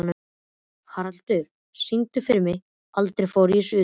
Haraldur, syngdu fyrir mig „Aldrei fór ég suður“.